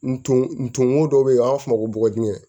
Nton nton dɔ bɛ yen an b'a f'o ma ko bɔgɔji